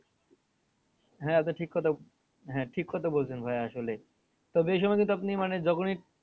হ্যাঁ ওটা ঠিক কথা হ্যাঁ ঠিক কথা বলছেন ভাইয়া আসলে তবে এ সময় কিন্তু আপনি মানে যখনই